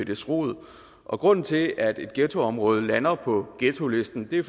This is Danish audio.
dets rod og grunden til at et ghettoområde lander på ghettolisten er